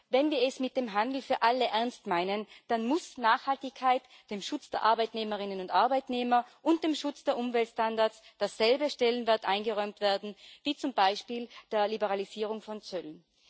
Wenn wir es mit dem Handel für alle ernst meinen, dann muss Nachhaltigkeit, dem Schutz der Arbeitnehmerinnen und Arbeitnehmer und dem Schutz der Umweltstandards derselbe Stellenwert eingeräumt werden wie zum Beispiel der Liberalisierung von Zöllen.